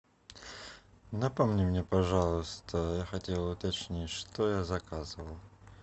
напомни мне пожалуйста я хотел уточнить что я заказывал